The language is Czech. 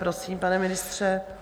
Prosím, pane ministře.